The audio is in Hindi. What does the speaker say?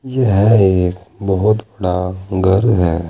यह एक बहोत बड़ा घर है।